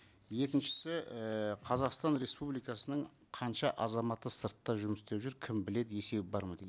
екіншісі ііі қазақстан республикасының қанша азаматы сыртта жұмыс істеп жүр кім біледі есебі бар ма деген